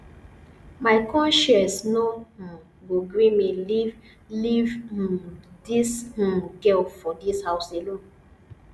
my conscience no um go gree me leave leave um dis um girl for dis house alone